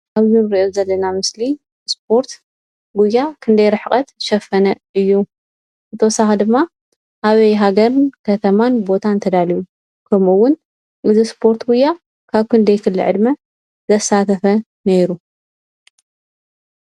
እዚ እንሪኦ ዘለና ምስሊ እስፖርት ጉያ ክንደይ ርሕቐት ዝሸፈነ እዩ? ብተወሳኺ ድማ ኣበይ ሃገርን ከተማን ቦታን ተዳልዩ? ከምኡ እዉን እዚ እስፖርት ጉያ ካብ ክንደይ ክሊ ዕድመ ዘሳተፈ ኔሩ?